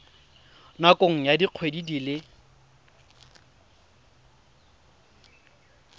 nakong ya dikgwedi di le